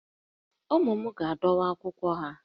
Ụmụ m ga-adọwa akwụkwọ ha